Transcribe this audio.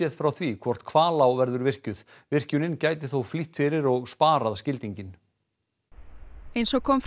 frá því hvort Hvalá verður virkjuð virkjunin gæti þó flýtt fyrir og sparað skildinginn eins og kom fram